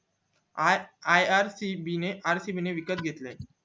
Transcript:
ircb ने rcb विकत घेतले